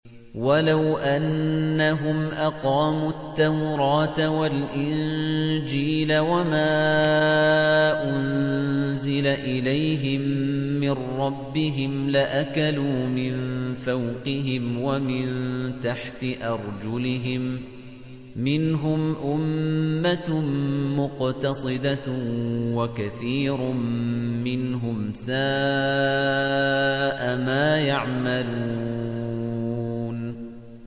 وَلَوْ أَنَّهُمْ أَقَامُوا التَّوْرَاةَ وَالْإِنجِيلَ وَمَا أُنزِلَ إِلَيْهِم مِّن رَّبِّهِمْ لَأَكَلُوا مِن فَوْقِهِمْ وَمِن تَحْتِ أَرْجُلِهِم ۚ مِّنْهُمْ أُمَّةٌ مُّقْتَصِدَةٌ ۖ وَكَثِيرٌ مِّنْهُمْ سَاءَ مَا يَعْمَلُونَ